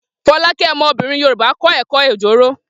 Folake, ọmọbìnrin Yorùbá, kọ́ ẹ̀kọ́ Ojoro.